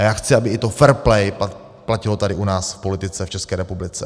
A já chci, aby to fair play platilo i tady u nás v politice v České republice.